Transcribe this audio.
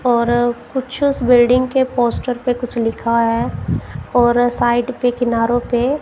और कुछ उस बिल्डिंग के पोस्टर पे कुछ लिखा है और साइड पे किनारो पे--